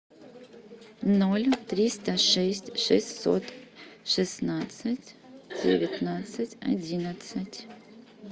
ноль триста шесть шестьсот шестнадцать девятнадцать одиннадцать